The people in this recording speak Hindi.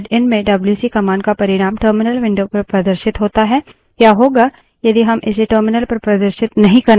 पिछले उदाहरण में हमने देखा कि file या standardin stdin में डब्ल्यूसी command का परिणाम terminal window पर प्रदर्शित होता है